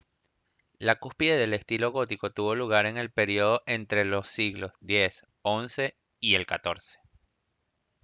la cúspide del estilo gótico tuvo lugar en el período entre los siglos x-xi y el xiv